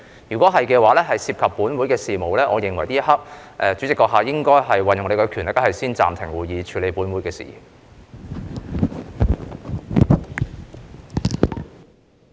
如是，這會涉及本會事宜，我認為這一刻代理主席應該運用你的權力先暫停會議，以處理本會事宜。